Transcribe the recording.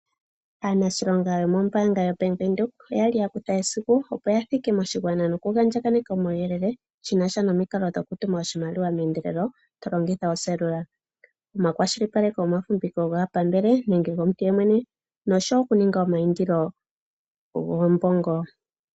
Aanashilonga yomombaanga yoBank windhoek oyali ya kutha esiku opo ya thike moshigwana noku andjakaneka omawuyele shi nasha nomikalo dhoku tuma oshimaliwa meyendelelo to longitha oseelula. Omakwashilipaleko gomafumbiko gaapambele nenge gomuntu ye mwene nosho wo oku ninga omayindilo goombongo.